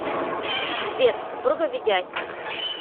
сбер супруга ведяхина